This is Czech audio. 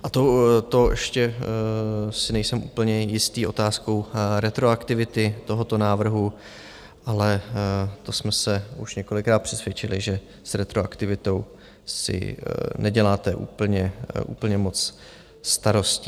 A to ještě si nejsem úplně jistý otázkou retroaktivity tohoto návrhu, ale to jsme se už několikrát přesvědčili, že s retroaktivitou si neděláte úplně moc starostí.